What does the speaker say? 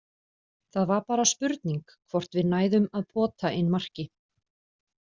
Það var bara spurning hvort við næðum að pota inn marki.